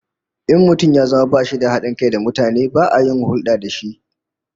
In mutum ya zama bashi da hadin kai da mutane, ba a yin hulda da shi